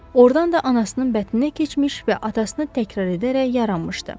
Ordan da anasının bətninə keçmiş və atasını təkrar edərək yaranmışdı.